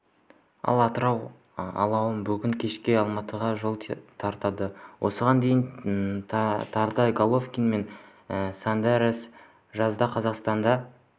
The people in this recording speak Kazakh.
ал атырау алауы бүгін кешке алматыға жол тартады осыған дейін тарда головкин мен сондерс жазда қазақстанда